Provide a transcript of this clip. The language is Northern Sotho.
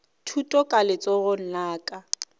thuto ka letsogong la ka